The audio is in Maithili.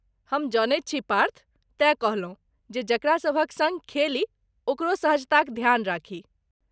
हम जनैत छी पार्थ, तेँ कहलहुँ जे जकरा सभक सँग खेली ओकरो सहजताक ध्यान राखी।